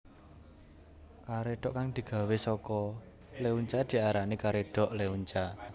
Karédhok kang digawé saka leunca diarani karedhok leunca